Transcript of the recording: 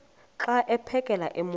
xa aphekela emoyeni